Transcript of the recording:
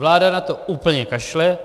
Vláda na to úplně kašle.